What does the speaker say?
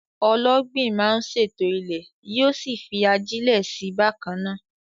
Ọlọ́gbìn máa ń ṣètò ilẹ̀, yóò sì fi ajílẹ̀ sí i bákan náà.